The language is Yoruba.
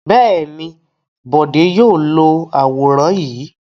Bẹ́ẹ̀ ni, Bọ̀dé yóò lo àwòrán yìí.